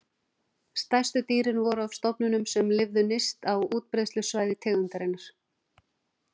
Stærstu dýrin voru af stofnunum sem lifðu nyrst á útbreiðslusvæði tegundarinnar.